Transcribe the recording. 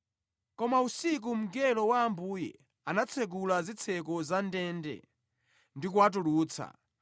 Koma usiku mngelo wa Ambuye anatsekula zitseko za ndende ndi kuwatulutsa